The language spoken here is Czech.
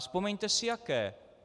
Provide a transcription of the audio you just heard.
Vzpomeňte si jaké.